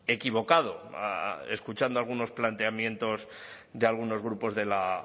equivocado escuchando algunos planteamientos de algunos grupos de la